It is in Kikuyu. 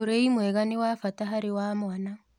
Ũrĩĩ mwega nĩ wa bata harĩ wa mwana